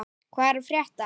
Hvað er að frétta!